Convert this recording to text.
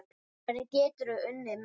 Hvernig geturðu unnið miða?